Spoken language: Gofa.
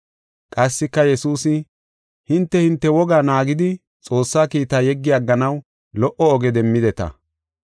Qassika Yesuusi, “Hinte hinte wogaa naagidi Xoossaa kiitaa yeggi agganaw lo77o oge demmideta.